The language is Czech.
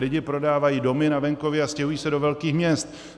Lidi prodávají domy na venkově a stěhují se do velkých měst.